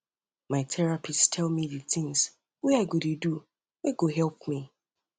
my therapist tell me um di tins wey i go dey do wey um go help me